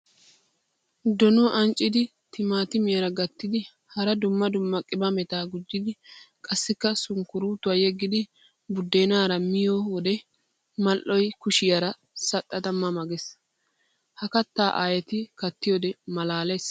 Donuwa ancciddi timattimiyara gattiddi hara dumma dumma qimaametta gujjiddi qassikka sunkkuruuttuwa yeggiddi buddenara miyoode mali'oy kushiyara saxxadda ma ma geesi. Ha katta aayeetti kattiyoode malaales.